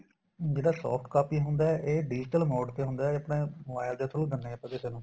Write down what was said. ਜਿਹੜਾ soft copy ਹੁੰਦਾ ਇਹ digital ਮੋੜ ਤੇ ਹੁੰਦਾ ਇਹ ਆਪਣੇ mobile ਦੇ through ਦੇਨੇ ਆ ਕਿਸੇ ਨੂੰ